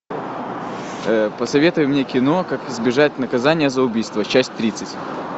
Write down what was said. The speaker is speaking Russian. посоветуй мне кино как избежать наказания за убийство часть тридцать